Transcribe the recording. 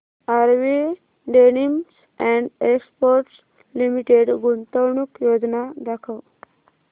RV denims and exports limited गुंतवणूक योजना दाखव